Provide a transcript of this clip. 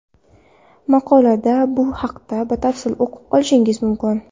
Maqolada bu haqda batafsil o‘qib olishingiz mumkin.